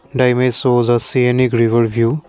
the image shows sea and overview.